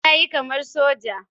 Ya yi kamar soja